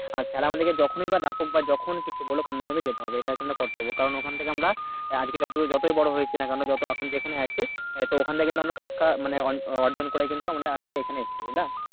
আর sir আমাদেরকে যখনি বা ডাকুক বা যখন কিছু বলুক আমাদের কিন্তু যেতে হবে এটা কিন্তু কর্তব্য কারণ ওখান থেকে আমরা আহ আজকে যত দূর যতোই বড়ো হয়েছি না কোন যত এখন যেখানে আছি আহ তো ওখান থেকে কিন্তু আমরা শিক্ষা মানে অর্জন করে কিন্তু আজকে এখানে এসেছি বুঝলে